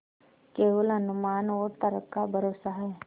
केवल अनुमान और तर्क का भरोसा है